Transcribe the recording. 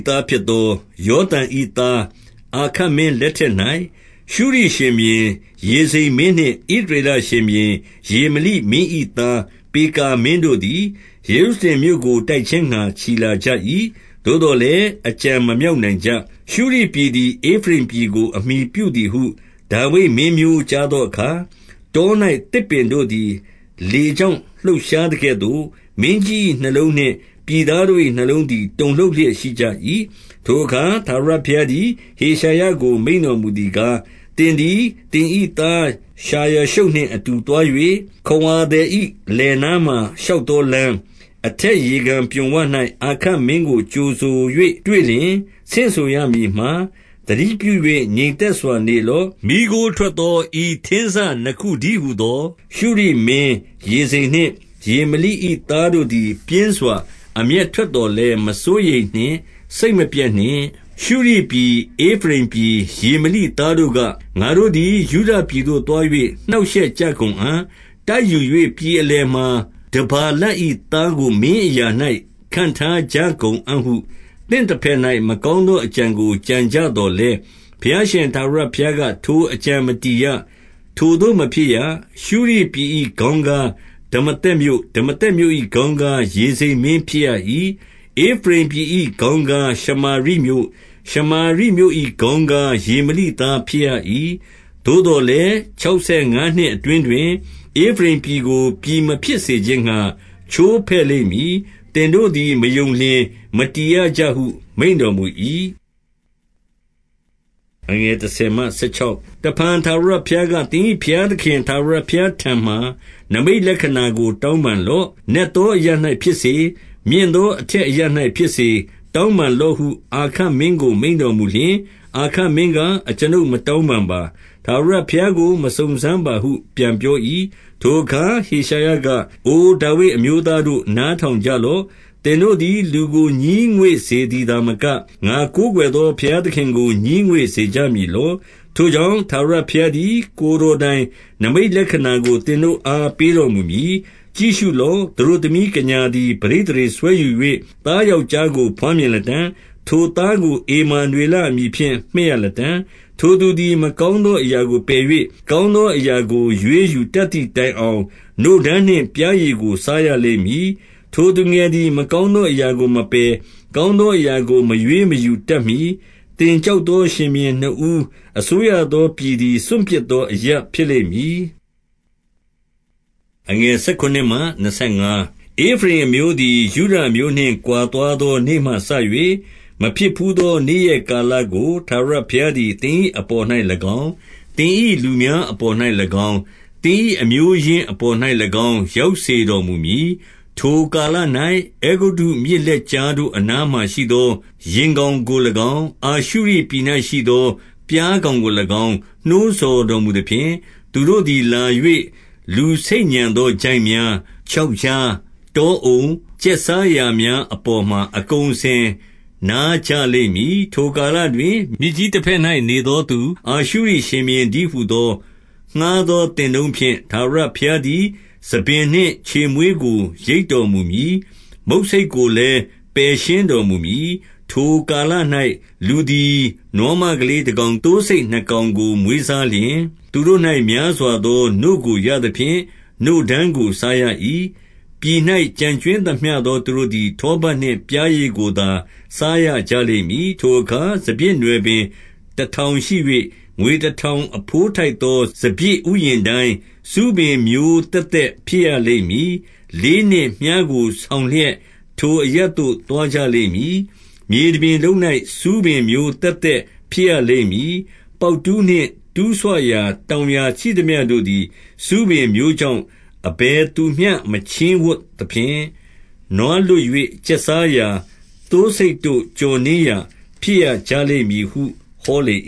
သားဖြစ်သော၊ ယောသံ၏ သား အာခတ်မင်းလက်ထက်၌၊ ရှုရိရှင်ဘုရင် ရေဇိန်မင်း နှင့် ဣသရေလရှင်ဘုရင် ရေမလိမင်း၏သား ပေကာမင်း တို့သည်၊ ယေရုရှလင်မြို့ကိုတိုက်ခြင်းငှါ ချီလာကြ၏။ သို့သော်လည်း၊ အကြံမမြောက်နိုင်ကြ။ 2 ရှုရိပြည်သည် ဧဖရိမ်ပြည်ကို အမှီပြုသည်ဟု ဒါဝိဒ်မင်းမျိုးကြားသောအခါ၊ တော်၌သစ်ပင်တို့သည် လေကြောင့် လှုပ်ရှားသကဲ့သို့၊ မင်းကြီး၏နှလုံးနှင့် ပြည် သားတို့၏နှလုံးသည် တုန်လှုပ်လျက်ရှိကြ၏။ 3 ထိုအခါ ထာဝရဘုရားသည် ဟေရှာယကို မိန့် တော်မူသည်ကား၊ သင်သည်သင်၏သား ရှာယာရှုပ်နှင့် အတူသွား၍၊ ခဝါသည်၏ လယ်နားမှာ ရှောက်သော လမ်း၊ အထက်ရေကန် ပြွန်ဝ၌အာခတ်မင်းကို ကြိုဆို၍ တွေ့လျှင်၊ ဆင့်ဆိုရမည်မှာ၊ 4 သတိပြု၍ ငြိမ်သက်စွာနေလော့။ မီးခိုးထွက် သော ဤထင်းစနှစ်ခုတည်းဟူသော၊ ရှုရိမင်းရေဇိန်နှင့် ရေမလိ၏သားတို့သည် ပြင်းစွာအမျက်ထွက်သော်လည်း၊ မစိုးရိမ်နှင့်၊ စိတ်မပျက်နှင့်။ 5 ရှုရိပြည်၊ ဧဖရိမ်ပြည်၊ ရေမလိသားတို့က၊ 6 ငါတို့သည် တိုက်ယူ၍ ပြည်အလယ်မှာ တဗာလ ၏သားကို မင်းအရာ၌ ခန့်ထားကြကုန်အံ့ဟု သင့်ဘက်၌ မကောင်းသောအကြံကို ကြံကြသော်လည်း၊ 7 ဘုရားရှင် ထာဝရဘုရားက၊ ထိုအကြံမတည်ရ။ ထိုသို့မဖြစ်ရ။ 8 ရှုရိပြည်၏ခေါင်းကား၊ ဒမာသက်မြို့။ 9 ဒမာသက်မြို့၏ ခေါင်းကား၊ ဧဖရိမ်ပြည်၏ ခေါင်းကား၊ ရှမာရိမြို့။ ရှာမာရိမြို့၏ခေါင်းကား၊ ရေမလိ သားဖြစ်ရ၏။ သို့သော်လည်း၊ခြောက်ဆယ်ငါးနှစ်အတွင်း တွင်၊ ဧဖရိမ်ပြည်ကို ပြည်မဖြစ်စေခြင်းငှါ၊ ချိုးဖဲ့လိမ့်မည်။ သင်တို့သည် မယုံလျှင်၊ မတည်ရကြဟု မိန့်တော်မူ၏။ 10 တဖန်ထာဝရဘုရားက၊ သင်၏ဘုရားသခင် ထာဝရဘုရားထံမှာနိမိတ်လက္ခဏာကိုတောင်းပန်လော့။ 11 နက်သောအရပ်၌ဖြစ်စေ၊ မြင့်သောအထက် အရပ်၌ဖြစ်စေ၊ တောင်းပန်လော့ဟု အာခတ်မင်းကို မိန့်တော်မူလျှင်၊ 12 အာခတ်မင်းက၊ ကျွန်ုပ်မတောင်းပန်းပါ။ ထာဝရဘုရားကို မစုံစမ်းပါဟု ပြန်ပြော၏။ 13 ထိုအခါ ဟေရှာယက၊ အိုဒါဝိဒ်အမျိုးသားတို့၊ နားထောင်ကြလော့။ သင်တို့သည် လူကိုငြီးငွေ့စေသည် သာမက၊ ငါကိုးကွယ်သော ဘုရားသခင်ကို ငြီးငွေ့စေကြ မည်လော့။ 14 ထိုကြောင့်၊ ထာဝရဘုရားသည် ကိုယ်တော်တိုင် နိမိတ်လက္ခဏာကို သင်တို့အားပေးတော်မူမည်။ ကြည့်ရှု လော့။ သတို့သမီးကညာသည် ပဋိသန္ဓေစွဲယူ၍၊ သား ယောက်ျားကို ဘွားမြင်လတံ့။ ထိုသားကို ဧမာနွေလ အမည်ဖြင့် မှည့်ရလတံ့။ 15 ထိုသူသည် မကောင်းသောအရာကိုပယ်၍၊ ကောင်းသောအရာကို ရွေးယူတတ်သည်တိုင်အောင်၊ နို့ဓမ်းနှင့်ပျားရည်ကို စားရလိမ့်မည်။ 16 ထိုသူငယ်သည် မကောင်းသောအရာကိုမပယ်၊ ကောင်းသောအရာကို မရွေးမယူတတ်မှီ၊ သင်ကြောက် သောရှင် ဘုရင်နှစ်ဦး အစိုးရသောပြည်သည် စွန့်ပစ် သော အရပ်ဖြစ်လိမ့်မည်။ 17 ဧဖရိမ်အမျိုးသည် ယုဒအမျိုးနှင့် ကွာသွားသောနေ့မှ စ၍၊ မဖြစ်ဘူးသော နေ့ရက်ကာလကို ထာဝရဘုရား သည် သင်၏အပေါ်၌၎င်း၊ သင်၏လူများပေါ်၌၎င်း၊ သင်၏အမျိုးရင်းအပေါ်၌၎င်း၊ ရောက်စေတော်မူမည်။ 18 ထိုကာလ၌ အဲဂုတ္တုမြစ်လက်ကြားတို့ အနားမှာ ရှိသော ယင်ကောင်ကို၎င်း၊ အာရှုရိပြည်၌ရှိသော ပျား ကောင်ကို၎င်း၊ နှိုးဆော်တော်မူသဖြင့်၊ 19 သူတို့သည်လာ၍ လူဆိတ်ညံသောချိုင့်များ၊ ချောက်ကြား၊ တောအုံ၊ ကျက်စားရာများအပေါ်မှာ အကုန်အစင်နားကြလိမ့်မည်။ 20 ထိုကာလတွင် မြစ်ကြီးတဘက်၌နေသောသူ၊ အာရှုရိရှင်ဘုရင်တည်းဟူသော ငှါးသောသင်တုန်းဖြင့် ထာဝရဘုရားသည် ဆံပင်နှင့် ခြေမွေးကို ရိတ်တော် မူမည်။ မုတ်ဆိတ်ကိုလည်း ပယ်ရှင်းတော်မူမည်။ 21 ထိုကာလ၌ လူသည်နွားမကလေးတကောင်၊ သိုးဆိတ်နှစ်ကောင်ကိုမွေးစားလျှင်၊ 22 သူတို့၌များစွာသော နို့ကိုရသဖြင့် နို့ဓမ်းကို စားရ၏။ ပြည်၌ ကျန်ကြွင်းသမျှသောသူတို့သည် ထောပတ်နှင့် ပျားရည်ကို သာစားရကြလိမ့်မည်။ 23 ထိုအခါ စပျစ်နွယ်ပင်တထောင်ရှိ၍၊ ငွေ တထောင် အဘိုးထိုက်သော စပျစ်ဥယျာဉ်တိုင်း၊ ဆူးပင် မျိုးသက်သက် ဖြစ်ရလိမ့်မည်။ 24 လေးနှင့်မြှားကို ဆောင်လျက် ထိုအရပ်သို့ သွားကြလိမ့်မည်။ မြေတပြင်လုံး၌ ဆူးပင်မျိုးသက်သက် ဖြစ်ရလိမ့်မည်။ 25 ပေါက်တူးနှင့်တူးဆွရာ တောင်ယာရှိသမျှတို့ သည်၊ ဆူးပင်မျိုးကြောင့် အဘယ်သူမျှမချည်ဝံ့သဖြင့်၊ နွားလွတ်၍ ကျက်စားရာ၊ သိုးဆိတ်တို့ ကျော်နင်းရာဖြစ်ရ ကြလိမ့်မည်ဟု ဟောလေ